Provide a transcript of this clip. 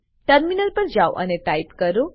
terminal પર જાઓ અને ટાઈપ કરો